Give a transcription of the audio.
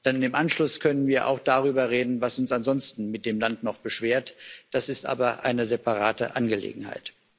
Dann im Anschluss können wir auch darüber reden, was uns ansonsten mit dem Land noch beschwert, das ist aber eine separate Angelegenheit.